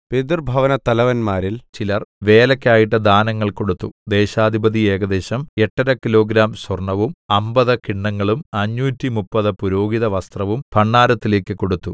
പിതൃഭവനത്തലവന്മാരിൽ ചിലർ വേലയ്ക്കായിട്ട് ദാനങ്ങൾ കൊടുത്തു ദേശാധിപതി ഏകദേശം 8 5 കിലോഗ്രാം സ്വര്‍ണ്ണവും അമ്പത് കിണ്ണങ്ങളും അഞ്ഞൂറ്റിമുപ്പത് പുരോഹിതവസ്ത്രവും ഭണ്ഡാരത്തിലേക്ക് കൊടുത്തു